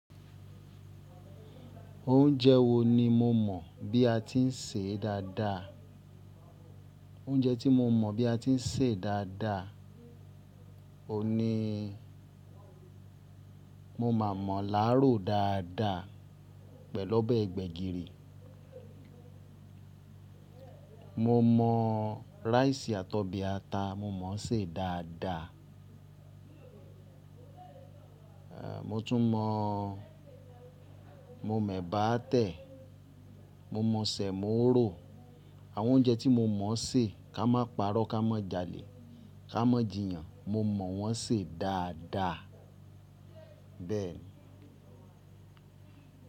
Oúnjẹ wo ni mo mọ̀ bí a ti ń sè é dáadáa? Oúnjẹ tí mo mọ bí a ti ń sè dáadáa, òní mo máa àmọ̀lá rò dáadáa pẹ̀lú ọbẹ̀ gbẹ̀gìrì. Mo mọ̀ rice àtọbì ata, mo mọ̀ ọ́ sè é dáadáa. A mo tún mọ̀, mo mọ̀ ẹ̀bà tẹ̀, mo mọ̀ sẹ̀mọ́ rò. Àwọn oúnjẹ tí mo mọ̀ sè, ká má parọ́, ká má jalè, ká má jìyàn, mo mọ̀ wọ́n sè dáadáa. Bẹ́ẹ̀ ni.